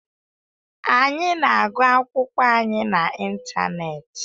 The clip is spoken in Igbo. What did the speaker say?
Anyị na-agụ akwụkwọ anyị na ịntanetị.